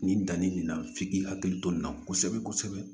Nin danni nin na f'i k'i hakili to nin na kosɛbɛ kosɛbɛ